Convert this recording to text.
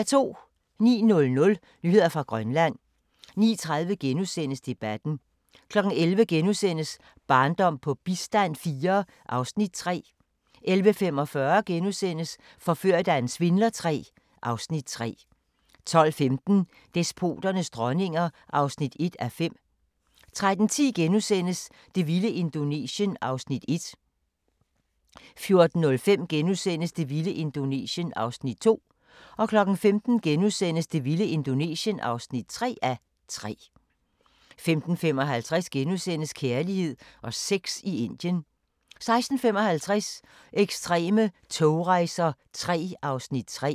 09:00: Nyheder fra Grønland 09:30: Debatten * 11:00: Barndom på bistand IV (Afs. 3)* 11:45: Forført af en svindler III (Afs. 3)* 12:15: Despoternes dronninger (1:5) 13:10: Det vilde Indonesien (1:3)* 14:05: Det vilde Indonesien (2:3)* 15:00: Det vilde Indonesien (3:3)* 15:55: Kærlighed og sex i Indien * 16:55: Ekstreme togrejser III (Afs. 3)